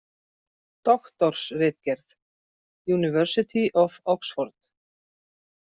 Doktorsritgerð, University of Oxford.